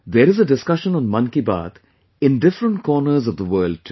There is a discussion on 'Mann Ki Baat' in different corners of the world too